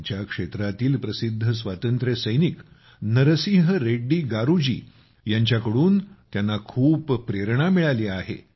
त्यांच्या क्षेत्रातील प्रसिद्ध स्वातंत्र्यसैनिक नरसिंह रेड्डी गारू जी यांच्याकडून त्यांना खूप प्रेरणा मिळाली आहे